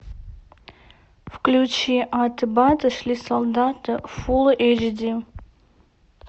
включи аты баты шли солдаты фул эйч ди